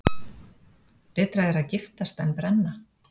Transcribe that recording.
Betra er að giftast en brenna.